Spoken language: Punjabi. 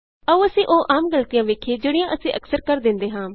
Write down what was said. ਆਉ ਅਸੀਂ ਉਹ ਆਮ ਗਲਤੀਆਂ ਵੇਖੀਏ ਜਿਹੜੀਆਂ ਅਸੀਂ ਅਕਸਰ ਕਰ ਦਿੰਦੇ ਹਾਂ